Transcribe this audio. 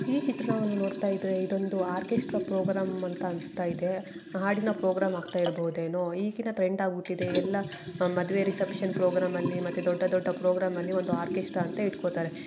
ಈ ಚಿತ್ರವನ್ನ ನೋಡತ್ತಾ ಇದ್ರೆ ಇದೊಂದು ಆರ್ಕೆಸ್ಟ್ರ ಪ್ರೋಗ್ರಾಮ್ ಅಂತ ಅನ್ನಿಸ್ತಾ ಇದೆ. ಹಾಡಿನ ಪ್ರೋಗ್ರಾಂ ಹೋಗ್ತಾ ಇರಬೋದು ಈಗಿನ ಟ್ರೆಂಡ್ ಆಗುತ್ತಿದೆ. ಎಲ್ಲ ಮದುವೆ ರಿಸೆಪ್ಷನ್ ಪ್ರೋಗ್ರಾಮ್ ನಲ್ಲಿ ಮತ್ತೆ ದೊಡ್ಡ ದೊಡ್ಡ ಪ್ರೋಗ್ರಾಮ್ ನಲ್ಲಿ ಒಂದು ಆರ್ಕೆಸ್ಟ್ರ ಅಂತ ಇಟ್ಟಕೊಂಡಿರತ್ತರೆ.